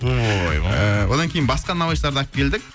ойбой одан кейін басқа наубайшыларды алып келдік